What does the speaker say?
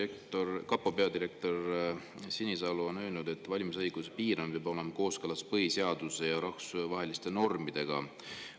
Endine kapo peadirektor Sinisalu on öelnud, et valimisõiguse piiramine peab olema kooskõlas põhiseaduse ja rahvusvaheliste normidega.